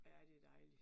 Ja, det dejlig